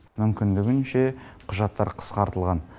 мүмкіндігінше құжаттар қысқартылған